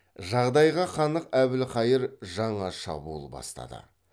жағдайға қанық әбілқайыр жаңа шабуыл бастады